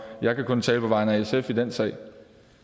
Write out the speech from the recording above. jeg kan kun tale på vegne af sf i den sag